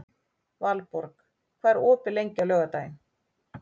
Valborg, hvað er opið lengi á laugardaginn?